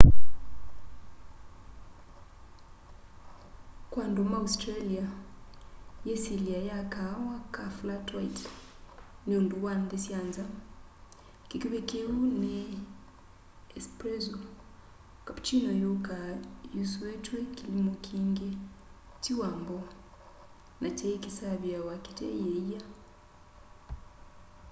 kwa andu ma australia yisilya ya kaawa ka flat white” ni undu wa nthi sya nza. kikuvi kiu ni espresso” cappuchino yukaa yusuitw'e kilimu kingi ti wambu na kyai kisaviawa kite yiia